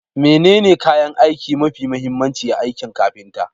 Menene kayan aiki mafi mahimmanci a aikin kafinta?